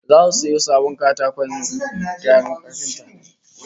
Zasu sayo sabon akwatin kayan kafinta